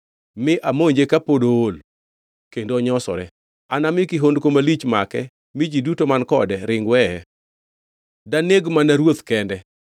mi amonje kapod ool kendo onyosore. Anami kihondko malich make mi ji duto man kode ring weye. Daneg mana ruoth kende